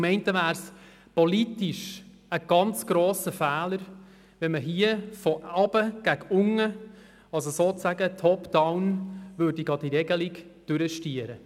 Zum einen wäre es politisch ein sehr grosser Fehler, wenn man diese Regelung von oben gegen unten – also sozusagen «top down» – erzwingen würde.